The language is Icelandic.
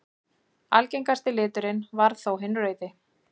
Algengasti liturinn varð þó hinn rauði.